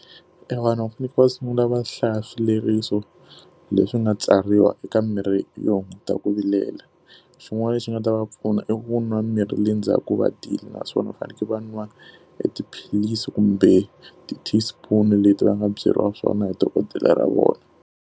Evanhu va fanekele va sungula va hlaya swileriso leswi nga tsariwa eka mimirhi yo hunguta ku vilela. Xin'wana lexi nga ta va pfuna i ku nwa mirhi le ndzhaku ku naswona u fanekele va nwa e tiphilisi kumbe ti-teaspoon leti va nga byeriwa swona hi dokodela ra vona.